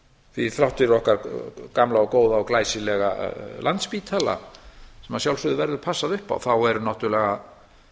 því þrátt fyrir okkar gamla og góða og glæsilega landspítala sem að sjálfsögðu verður passað upp á þá eru náttúrulega